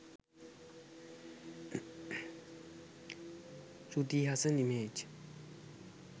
shruti hassan image